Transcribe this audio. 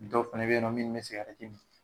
Dɔw fɛnɛ be yen nɔ, munnu be mi.